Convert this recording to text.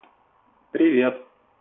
привет